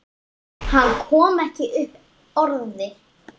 Hann kom ekki upp orði.